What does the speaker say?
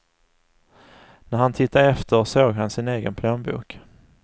När han tittade efter såg han sin egen plånbok.